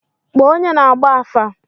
Kpọọ onye na-agba afa!